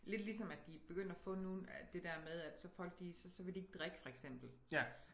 Lidt ligesom at de begyndt at få nu det dér med at så folk de så så vil de ikke drikke for eksempel